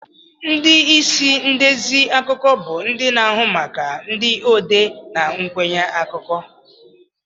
Ndị isi ndezi akụkọ bụ ndị na-ahụ maka ndị odee na nkwenye akụkọ.